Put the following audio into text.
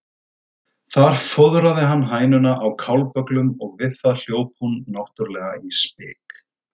Þar fóðraði hann hænuna á kálbögglum og við það hljóp hún náttúrlega í spik.